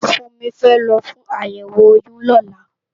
Funmi fè lò fún àyèwó óyùn lòlá